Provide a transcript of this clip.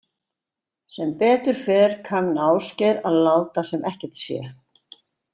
Sem betur fer kann Ásgeir að láta sem ekkert sé.